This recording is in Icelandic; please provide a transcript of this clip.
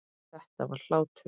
Þetta var hlátur.